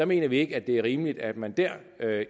mener ikke at det er rimeligt at man der